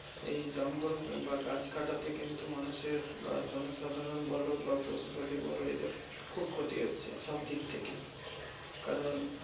এই জঙ্গল বা গাছ কাটাতে কিন্তু মানুষের বা জনসাধারণ বলো বা পশুপাখি বলো এদের খুব ক্ষতি হচ্ছে সব দিক থেকেই। কারণ